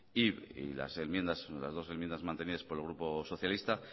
y las dos enmiendas mantenidas por el grupo socialista